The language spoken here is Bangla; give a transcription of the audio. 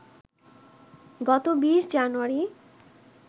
গত ২০ জানুয়ারি